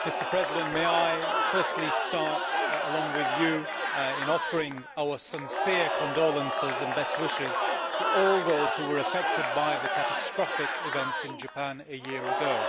Mr President, may I firstly start along with you in offering our sincere condolences and best wishes to all those who were affected by the catastrophic events in Japan a year ago.